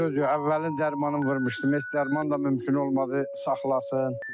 Sözü əvvəlin dərmanını vurmuşdum heç dərman da mümkün olmadı saxlasın.